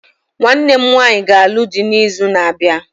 Nwanne m nwanyị ga-alụ dị n'izu na-abịa